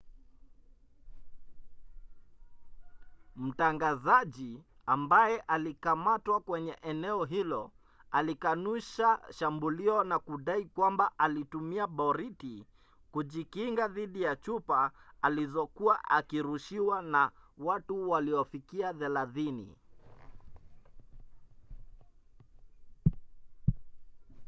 mtangazaji ambaye alikamatwa kwenye eneo hilo alikanusha shambulio na kudai kwamba alitumia boriti kujikinga dhidi ya chupa alizokuwa akirushiwa na watu waliofikia thelathini